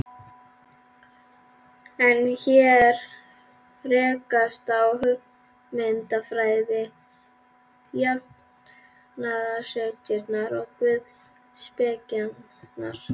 En hér rekast á hugmyndafræði jafnaðarstefnunnar og guðspekinnar.